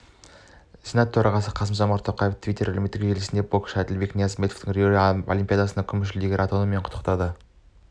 сенат төрағасы қасым-жомарт тоқаев твиттер әлеуметтік желісінде боксшы әділбек ниязымбетовті рио олимпиадасының күміс жүлдегері атануымен құттықтады